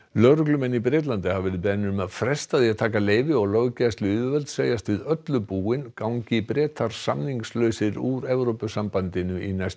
lögreglumenn í Bretlandi hafa verið beðnir að fresta því að taka leyfi og löggæsluyfirvöld segjast við öllu búin gangi Bretar samningslausir úr Evrópusambandinu í næstu